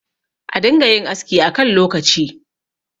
a dinga yin aski a kan lokaci